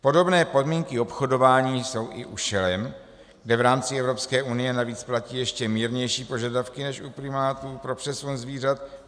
Podobné podmínky obchodování jsou i u šelem, kde v rámci Evropské unie navíc platí ještě mírnější požadavky než u primátů pro přesun zvířat.